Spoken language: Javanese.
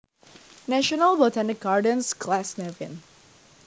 National Botanic Gardens Glasnevin